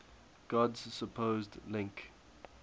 god's supposed link